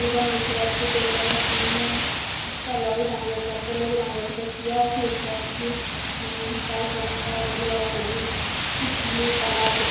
Pump দেখতে পাচ্ছি তেল পামের সামনেই একটা লরি দাঁড়িয়ে আছে একটা লোক দাঁড়িয়ে আছে একটা চেয়ার আছে দেখতে পাচ্ছি। হে তার রং টা হলো-ও হলুদ। উত ব্লু কালার ।